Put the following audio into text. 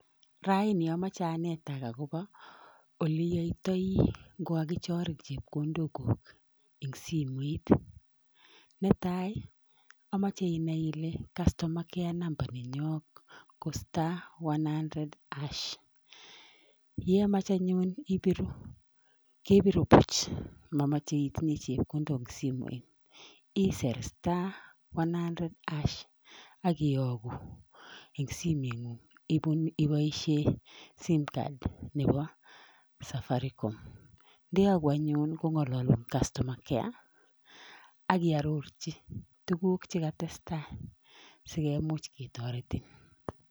Raini amoche anetak akobo oli iyotoi ngkakichorin chepkondokuk eng simet netai amoche inai ile customer care number nenyoo ko *100# yemach anyun ibiru kebiru buch momochei itinye chepkondok eng simoit isir *100# ak iyogu eng simengung iboishe simcard nebo safaricom. Ndeyoku anyun kongalalu anyun customer care ak iororji tuguk che katestai sikimuch ketoretin.